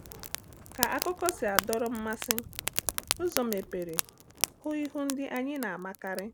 Ka akụkọ si adọrọ mmasị, ụzọ mepere hụ ihu ndị anyị na-amakarị.